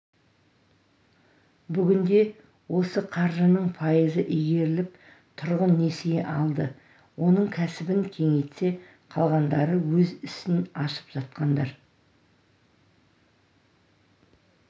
бүгінде осы қаржының пайызы игеріліп тұрғын несие алды оның кәсібін кеңейтсе қалғандары өз ісін ашып жатқандар